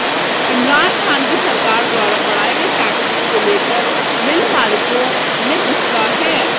इमरान खान की सरकार द्वारा बढ़ाए गए टैक्स को लेकर मिल मालिकों में गुस्सा है